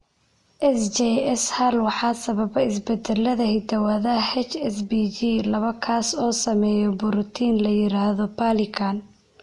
SJS hal waxaa sababa isbeddellada hidda-wadaha HSPG laba kaas oo sameeya borotiin la yiraahdo perlecan.